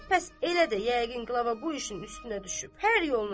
Pəs elədir, yəqin qlava bu işin üstünə düşüb.